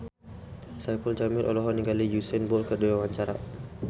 Saipul Jamil olohok ningali Usain Bolt keur diwawancara